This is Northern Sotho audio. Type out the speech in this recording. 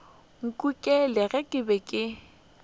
nkukile ge ke be ke